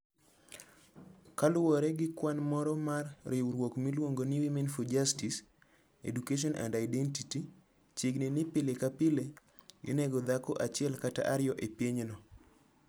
Kaluwore gi kwan moro mar riwruok miluongo ni Women for Justice, Education and Identity, chiegni ni pile ka pile, inego dhako achiel kata ariyo e pinyno.